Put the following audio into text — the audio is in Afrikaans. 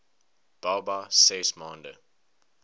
baba ses maande